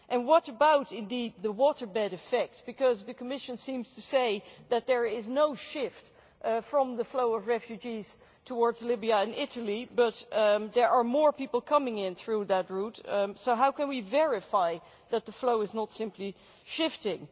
And what about the waterbed, effect because the Commission seems to say that there is no shift from the flow of refugees towards Libya and Italy but there are more people coming in through that route, so how can we verify that the flow is not simply shifting?